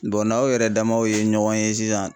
n'aw yɛrɛ damaw ye ɲɔgɔn ye sisan